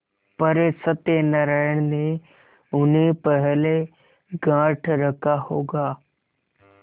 पर सत्यनारायण ने उन्हें पहले गॉँठ रखा होगा